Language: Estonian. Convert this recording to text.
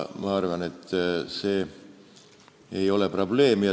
Ma arvan, et see ei ole probleem.